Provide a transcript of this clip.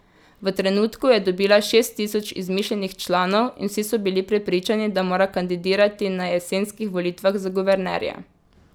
V trenutku je dobila šest tisoč izmišljenih članov in vsi so bili prepričani, da mora kandidirati na jesenskih volitvah za guvernerja.